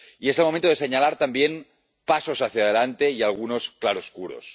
Y es el momento de señalar también los pasos hacia adelante y algunos claroscuros.